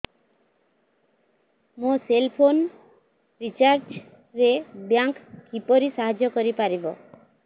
ମୋ cell phone recharge ରେ bank କିପରି ସାହାଯ୍ୟ କରିପାରିବ